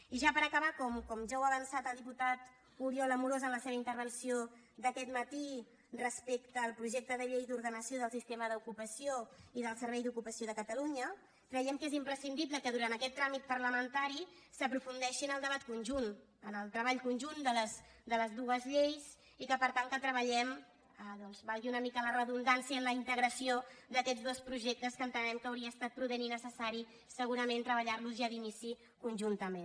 i ja per acabar com ja ha avançat el diputat oriol amorós en la seva intervenció d’aquest matí respecte al projecte de llei d’ordenació del sistema d’ocupació i del servei d’ocupació de catalunya creiem que és imprescindible que durant aquest tràmit parlamentari s’aprofundeixi en el debat conjunt en el treball conjunt de les dues lleis i que per tant treballem valgui una mica la redundància en la integració d’aquests dos projectes que entenem que hauria estat prudent i necessari segurament treballar los ja d’inici conjuntament